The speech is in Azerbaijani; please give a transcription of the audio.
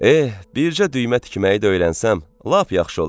Eh, bircə düymə tikməyi də öyrənsəm, lap yaxşı olar.